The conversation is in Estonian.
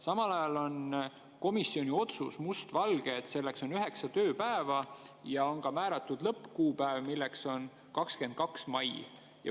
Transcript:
Samal ajal on must valgel komisjoni otsuses, et selleks on üheksa tööpäeva, ja on määratud lõppkuupäev, mis on 22. mai.